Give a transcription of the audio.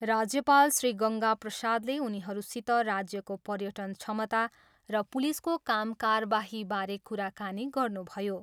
राज्यपाल श्री गङ्गा प्रसादले उनीहरूसित राज्यको पर्यटन क्षमता र पुलिसको कामकारबाहीबारे कुराकानी गर्नुभयो।